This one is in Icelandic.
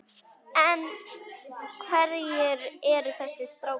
En hverjir eru þessir strákar?